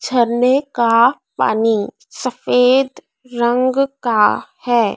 झरने का पानी सफेद रंग का है।